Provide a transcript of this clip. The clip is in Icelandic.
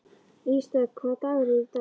Ísdögg, hvaða dagur er í dag?